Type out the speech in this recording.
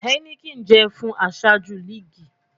Heineken jẹ fun aṣaju liigi